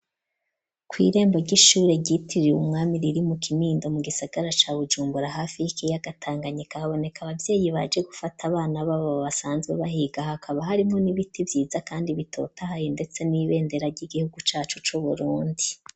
Kwirembo ry'ishuri ryitirwe umwami riri mu kinindo mu gisagara ca Bujumbura hafi y'ikiyaga tanganyika haboneka abavyeyi baje gufata abana babo basanzwe bahiga hakaba harimo n'ibiti vyiza kandi bitotahaye ndetse n'ibendera ry'igihugu cacu cu Burundi.